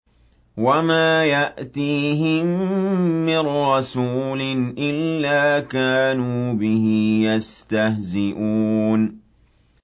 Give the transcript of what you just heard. وَمَا يَأْتِيهِم مِّن رَّسُولٍ إِلَّا كَانُوا بِهِ يَسْتَهْزِئُونَ